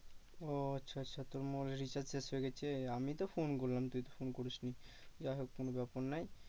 ও আচ্ছা আচ্ছা তোর mobile এ recharge শেষ হয়ে গেছে আমি তো phone করলাম তুই তো phone করিসনি। যাই হোক কোনো ব্যাপার নয়।